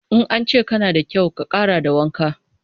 In an ce kana da kyau, ka ƙara da wanka.